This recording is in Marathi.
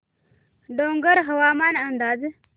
डोंगरगाव हवामान अंदाज